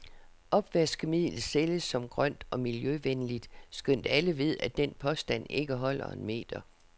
Opvaskemiddel sælges som grønt og miljøvenligt, skønt alle ved, at den påstand ikke holder en meter.